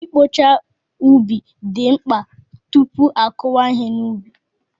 I kpocha ubi dị mkpa tupu a kụnye ihe n'ubi.